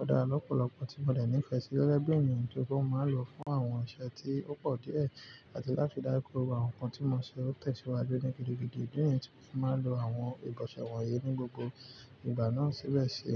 ó dára lọ́pọ̀lọ́pọ̀, tí mọ̀ dẹ̀ ní ìfẹ́ sí, gẹ́gẹ́ bí ènìyàn tó rí pé mọ̀ máa n lọ̀ fún awọn iṣẹ̀ tí ó pọ̀ díẹ̀ à tí láti rí dájú pé gbogbo àwọn ǹkan tí mò ń ṣe o tẹ̀síwájú ní gídígídi, ìdí nìyí tí mọ fi máa ń lọ ìbòsè wọ̀nyí ní gbogbo ìgbà náà síbẹ̀ sì.